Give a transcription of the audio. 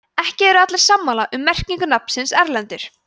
ekki eru allir sammála um merkingu nafnsins erlendur